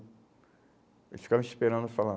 Eles ficavam esperando eu falar.